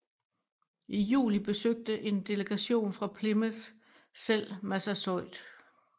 I juli besøgte en delegation fra Plymouth selv Massasoit